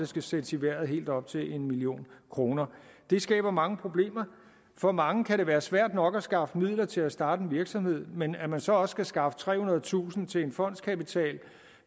skal sættes i vejret helt op til en million kroner det skaber mange problemer for mange kan det være svært nok at skaffe midler til at starte en virksomhed men at man så også skal skaffe trehundredetusind kroner til en fondskapital